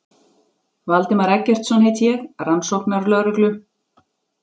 Valdimar Eggertsson heiti ég, rannsóknarlögreglu